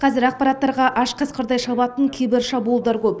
қазір ақпараттарға аш қасқырдай шабатын кибершабуылдар көп